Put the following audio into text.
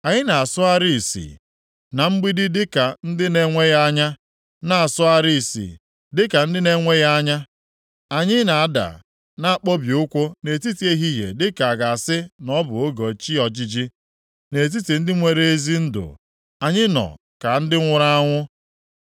Anyị na-asọgharị ìsì na mgbidi dịka ndị na-enweghị anya, na-asọgharị isi dịka ndị na-enweghị anya; anyị na-ada na-akpọbi ukwu nʼetiti ehihie dịka a ga-asị na ọ bụ oge chi ojiji, nʼetiti ndị nwere ezi ndụ, anyị nọ ka ndị nwụrụ anwụ.